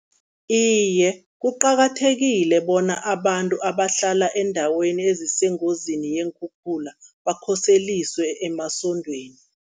Iye, kuqakathekile bona abantu abahlala eendaweni ezisengozini yeenkhukhula, bakhoseliswe emasondweni